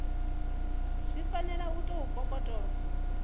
zwi fanela u tou kokotolo